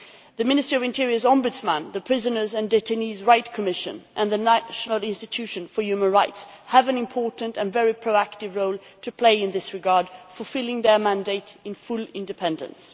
The Minister of the Interior's Ombudsman, the Prisoners' and Detainees' Rights Commission and the National Institution for Human Rights have an important and very proactive role to play in this regard, fulfilling their mandate in full independence.